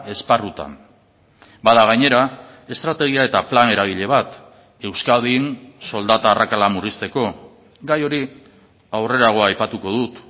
esparrutan bada gainera estrategia eta plan eragile bat euskadin soldata arrakala murrizteko gai hori aurrerago aipatuko dut